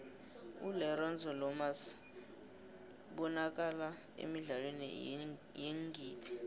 ulerenzo lomas ybanakala emidlalweni yeengidi